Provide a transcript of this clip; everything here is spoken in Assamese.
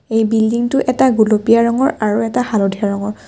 এই বিল্ডিং টো এটা গুলপীয়া ৰঙৰ আৰু এটা হালধিয়া ৰঙৰ।